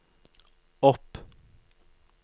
opp